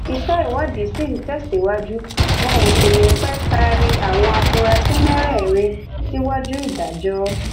iṣẹ ìwádìí ṣì ń tẹsíwájú wọn ò sì ní í pé taari àwọn afurasí mẹrẹẹrin síwájú adájọ